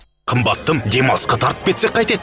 қымбаттым демалысқа тартып кетсек қайтеді